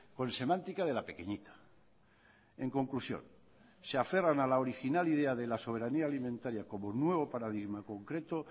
con semántica de la pequeñita en conclusión se aferran a la original idea de la soberanía alimentaria como nuevo paradigma concreto